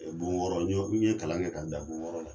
Bon wɔɔrɔ n ye kalan kɛ ka n dan bon wɔɔrɔ la.